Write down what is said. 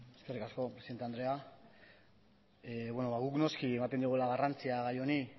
eskerrik asko presidente andrea beno ba guk noski ematen diogula garrantzia gai honi